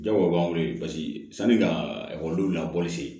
Jago b'an wele paseke sani ka ekɔlidenw lakɔliso